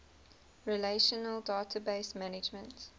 relational database management